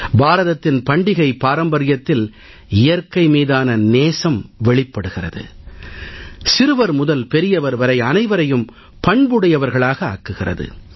பாரதத்தின் பண்டிகை பாரம்பரியத்தில் இயற்கை மீதான நேசம் வெளிப்படுகிறது சிறுவர் முதல் பெரியவர் வரை அனைவரையும் பண்புடையவர்களாக ஆக்குகிறது